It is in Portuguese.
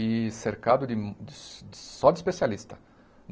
e cercado de hum só de especialista.